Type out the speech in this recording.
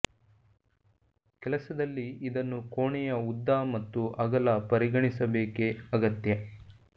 ಕೆಲಸದಲ್ಲಿ ಇದನ್ನು ಕೋಣೆಯ ಉದ್ದ ಮತ್ತು ಅಗಲ ಪರಿಗಣಿಸಬೇಕೆ ಅಗತ್ಯ